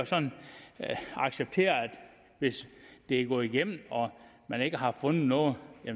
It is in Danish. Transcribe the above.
acceptere at hvis det er gået igennem og man ikke har fundet noget